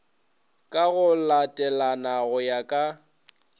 ka go latelana go ya